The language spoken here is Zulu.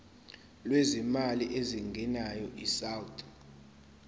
lwezimali ezingenayo isouth